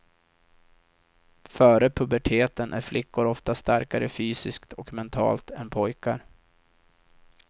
Före puberteten är flickor ofta starkare fysiskt och mentalt än pojkar.